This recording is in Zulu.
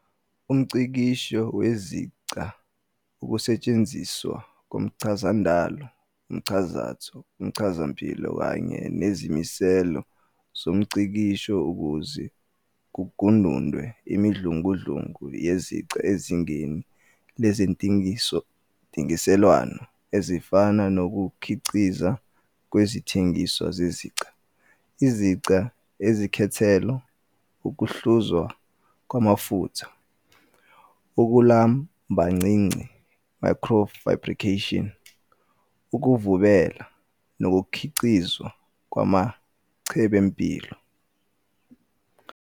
UmNgcikisho weziQa ungukusetshenziswa komchazandalo, umchazatho, umchazampilo kanye nezimiselo zomngcikisho ukuze kugunundwe imidludlungu yeziqa ezingeni lezentengiselwano, ezifana nokukhiqiza kwezithengiswa zeziqa, iziqa ezikhethelo, ukuhluzwa kwamafutha, ukulumbancinci "microfabrication", ukuvubela, nokukhiqizwa kwamachembempilo.